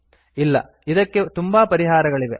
ಇಲ್ಲ ಇದಕ್ಕೆ ತುಂಬಾ ಪರಿಹಾರಗಳಿವೆ